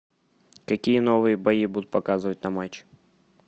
какие новые бои будут показывать на матче